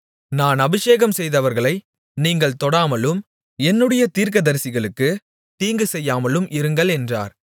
நான் அபிஷேகம்செய்தவர்களை நீங்கள் தொடாமலும் என்னுடைய தீர்க்கதரிசிகளுக்குத் தீங்குசெய்யாமலும் இருங்கள் என்றார்